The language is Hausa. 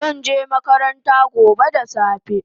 Zanje makaranta gobe da safe